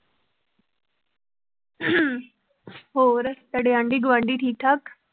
ਹੋਰ ਤੁਹਾਡੇ ਆਂਢੀ ਗੁਆਂਢੀ ਠੀਕ ਠਾਕ?